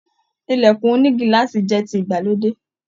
Ilẹkùn ònígíláàsì jẹ tí ìgbàlódé.